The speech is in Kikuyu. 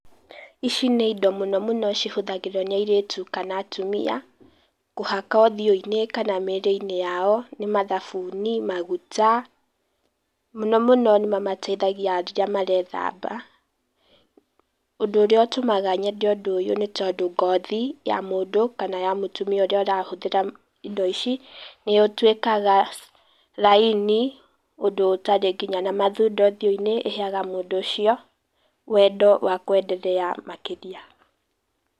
Ici nĩ indo mũno mũno cihũthagĩrwo nĩ airĩtu kana atumia, kũhaka ũthiũ-inĩ kana mĩrĩ-inĩ yao, nĩ mathabuni, maguta. Mũno mũno nĩ mamateithagia rĩrĩa marethamba, ũndũ ũrĩa ũtũmaga nyende ũndũ ũyũ nĩ tondũ ngothi ya mũndũ kana ya mũtimia ũrĩa ũrahũthĩra indo ici nĩ ũtuĩkaga raini, ũndũ ũtarĩ nginya na mathundo ũthiũ-inĩ, ĩheaga mũndũ ũcio, wendo wa kwenderea makĩria.